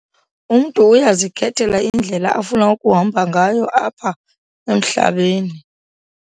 Umntu uyazikhethela indlela afuna ukuhamba ngayo apha emhlabeni.